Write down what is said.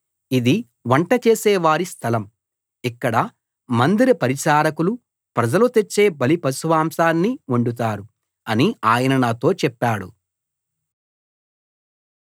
ఇది వంట చేసేవారి స్థలం ఇక్కడ మందిర పరిచారకులు ప్రజలు తెచ్చే బలిపశుమాంసాన్ని వండుతారు అని ఆయన నాతో చెప్పాడు